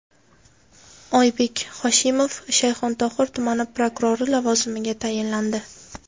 Oybek Hoshimov Shayxontohur tumani prokurori lavozimiga tayinlandi.